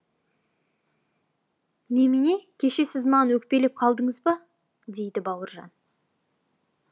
немене кеше сіз маған өкпелеп қалдыңыз ба дейді бауыржан